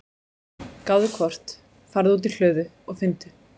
gáðu hvort. farðu út í hlöðu og finndu.